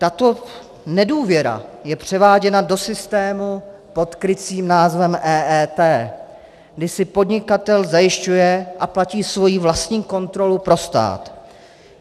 Tato nedůvěra je převáděna do systému pod krycím názvem EET, kdy si podnikatel zajišťuje a platí svoji vlastní kontrolu pro stát.